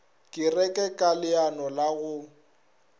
kereke ka leano la go